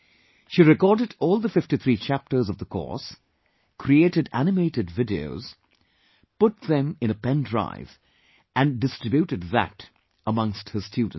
She recorded all the 53 chapters of the course, created animated videos, put them in a pen drive and distributed that amongst her students